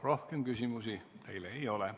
Rohkem küsimusi teile ei ole.